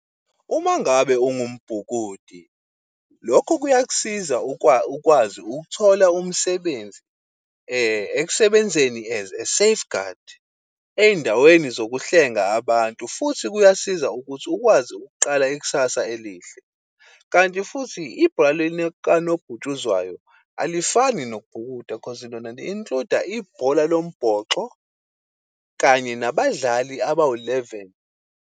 Uma ngabe ungambhukudi, lokho kuyak'siza ukwazi ukuthola umsebenzi ekusebenzeni as a safeguard endaweni zokuhlenga abantu futhi kuyasiza ukuthi ukwazi ukuqala ikusasa elihle. Kanti futhi ibhola likanobhutshuzwayo, alifani nobhukuda cause lona li-include-a ibhola lombhoxo kanye nabadlali abawu-eleven.